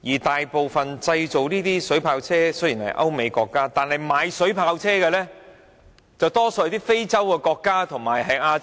雖然製造水炮車的大多是歐美國家，但購買水炮車的則多數是非洲和亞洲國家。